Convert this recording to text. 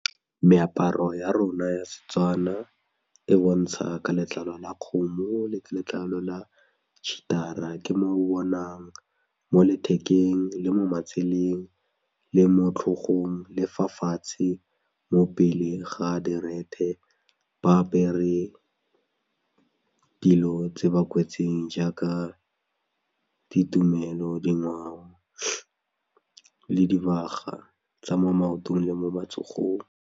Meaparo ya rona ya Setswana e bontsha ka letlalo la kgomo letlalo la cheater-a ke mo o bonang mo lethekeng le mo matseleng le mo tlhogong le fa fatshe mo pele ga direthe ba apere dilo tse ba kwetseng jaaka ditumelo, dingwao le dibaga tsa mo maotong le mo matsogong.